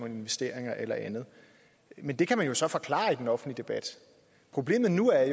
investeringer eller andet men det kan man jo så forklare i den offentlige debat problemet nu er